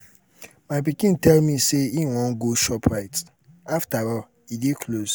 my pikin tell me say he wan go shop right after all e dey close.